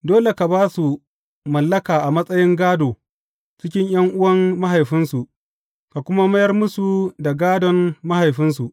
Dole ka ba su mallaka a matsayin gādo cikin ’yan’uwan mahaifinsu, ka kuma mayar musu da gādon mahaifinsu.